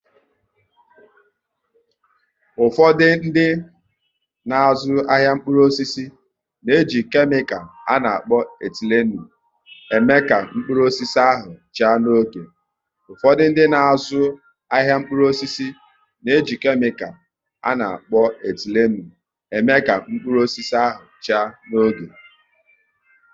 Ụfọdụ dị n'azụ ahịa mkpụrụ osisi n'eji kemical a na-akpọ "etilenu" eme ka mkpụrụ osisi ha chaa n'oge